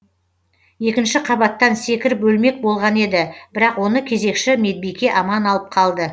екінші қабаттан секіріп өлмек болған еді бірақ оны кезекші медбике аман алып қалды